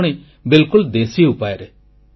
ତାହା ପୁଣି ବିଲକୁଲ ଦେଶୀ ଉପାୟରେ